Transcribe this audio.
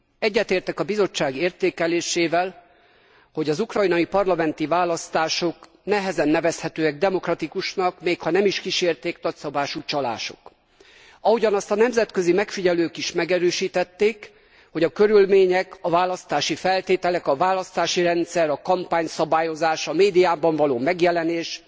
Egyetértek a Bizottság értékelésével, hogy az ukrajnai parlamenti választások nehezen nevezhetőek demokratikusnak, még ha nem is kísérték nagyszabású csalások. Ahogyan azt a nemzetközi megfigyelők is megerősítették, a körülmények, a választási feltételek, a választási rendszer, a kampányszabályozás, a médiában való megjelenés